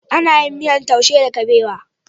Ana yin miyar taushe da kabewa.